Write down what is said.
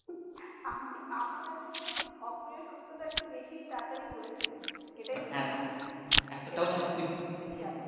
আমি আমি আসলে অপ্রিয় সত্য টা একটু বেশি তাড়াতাড়ি বলে ফেলি এটাই হচ্ছে সমস্যা এতদিনে নিশ্চই জানো?